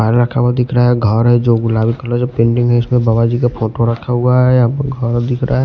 पहले रखा हुआ दिख रहा है घर है जो गुलाबी कलर जो पेंडिंग है इसमें बाबा जी का फोटो रखा हुआ है य घर दिख रहा है।